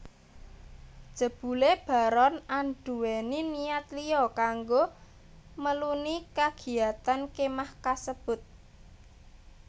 Jebulé Baron anduwèni niat liya kanggo meluni kagiyatan kemah kasebut